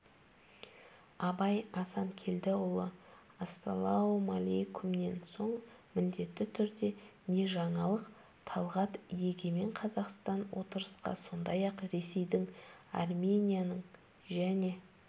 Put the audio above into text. абай асанкелдіұлы ассалаумалейкумнен соң міндетті түрде не жаңалық талғат егемен қазақстан отырысқа сондай-ақ ресейдің арменияның және